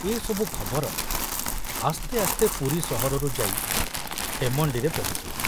ଏ ସବୁ ଖବର ଆସ୍ତେ ଆସ୍ତେ ପୁରୀ ସହରରୁ ଯାଇ ଖେମଣ୍ଡିରେ ପହଞ୍ଚିଲା।